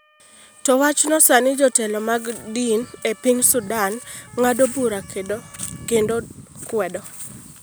To wachno sani jotelo mag din e piny Sudan ng’ado bura kendo kwedo.